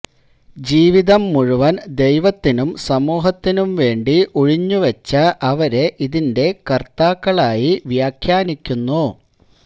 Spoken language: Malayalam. ജീവിതം മുഴുവന് ദൈവത്തിനും സമൂഹത്തിനും വേണ്ടി ഉഴിഞ്ഞു വെച്ച അവരെ ഇതിന്റെ കര്ത്താക്കളായി വ്യാഖ്യാനിക്കുന്നു